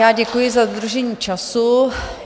Já děkuji za dodržení času.